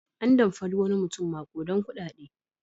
An damfari wani mutum maƙudan kuɗaɗe.